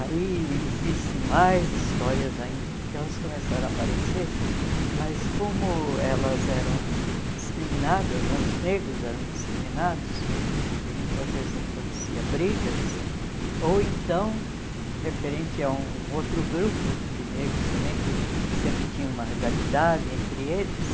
Aí existem mais histórias ainda, porque elas começaram a aparecer, mas como elas eram discriminadas né, os negros eram discriminados e muitas vezes aconteciam brigas, ou então, referente a um outro grupo de negros também, que sempre tinha uma rivalidade entre eles,